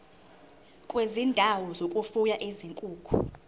kwezindawo zokufuya izinkukhu